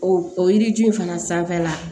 O o yiri ju in fana sanfɛla